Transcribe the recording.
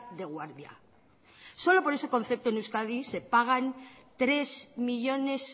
de guardia solo por ese concepto en euskadi se pagan casi tres millónes